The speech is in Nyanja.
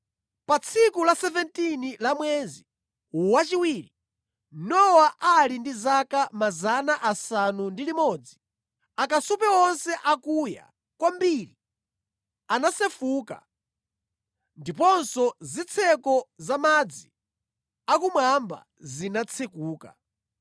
Pa tsiku la 17 la mwezi wachiwiri, Nowa ali ndi zaka 600, akasupe onse akuya kwambiri anasefuka ndiponso zitseko za madzi akumwamba zinatsekuka.